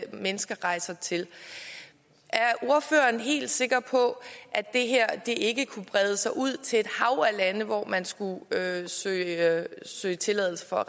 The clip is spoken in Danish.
mennesker rejser til er ordføreren helt sikker på at det her ikke kunne brede sig ud til et hav af lande som man skulle søge søge tilladelse for